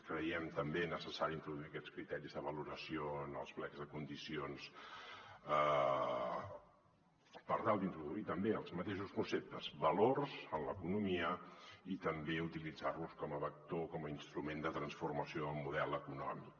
creiem també necessari introduir aquests criteris de valoració en els plecs de condicions per tal d’introduir també els mateixos conceptes valors en l’economia i també utilitzar·los com a vector com a instrument de transformació del model eco·nòmic